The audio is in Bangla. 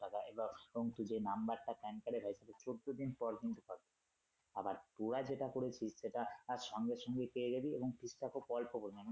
টাকা এবং তুই যে নাম্বার টা Pan card এ রয়েছে চৌদ্দ দিন পর কিন্তু পাবি আবার ভূয়া যেটা করেছিস সেটা সঙ্গে সঙ্গে পেয়ে যাবি এবং fees টা খুব অল্প করে নেয়।